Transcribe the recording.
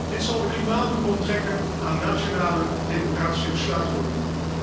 Dit zal de klimaatdoelen onttrekken aan nationale democratische besluitvorming.